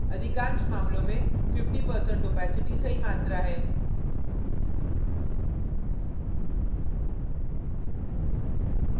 अधिकांश मामलों में 50% opacity सही मात्रा है